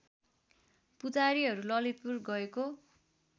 पुजारीहरू ललितपुर गएको